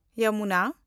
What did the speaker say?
Jamuna